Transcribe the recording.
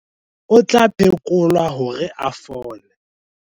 o tla phekolwa hore a fole